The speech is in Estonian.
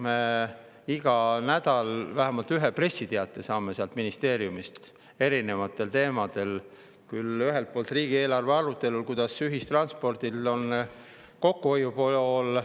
Me iga nädal saame vähemalt ühe pressiteate sealt ministeeriumist erinevatel teemadel: küll riigieelarve arutelul, kuidas ühistranspordil on kokkuhoiu pool …